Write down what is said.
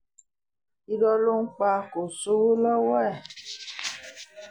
irọ́ ló ń pa kò sówó lọ́wọ́ ẹ̀